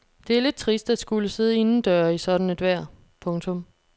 Det er lidt trist at skulle sidde indendøre i sådan et vejr. punktum